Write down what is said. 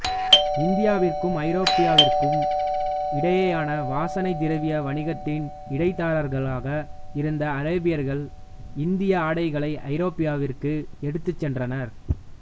இந்தியாவிற்கும் ஐரோப்பாவிற்கும் இடையேயான வாசனை திரவிய வணிகத்தின் இடைத்தரகர்களாக இருந்த அரேபியர்கள் இந்திய ஆடைகளை ஐரோப்பாவிற்கு எடுத்துச்சென்றனர்